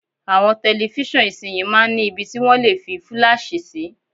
Àwọn tẹlifíṣàn ìsinyìí máa ń ni ibi tí wọ́n lè fi fúláàṣì sí.